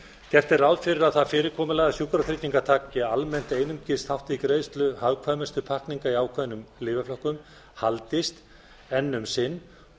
gert er ráð fyrir að það fyrirkomulag að sjúkratryggingar taki almennt einungis þátt í greiðslu hagkvæmustu í ákveðnum lyfjaflokkum haldist enn um sinn